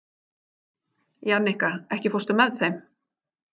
Jannika, ekki fórstu með þeim?